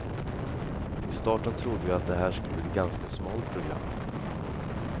Vid starten trodde vi att det här skulle bli ett ganska smalt program.